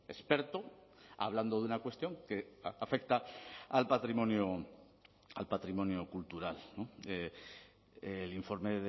experto hablando de una cuestión que afecta al patrimonio al patrimonio cultural el informe